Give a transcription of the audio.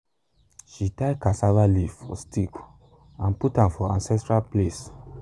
she tie cassava leaf for stick and put am for ancestral place.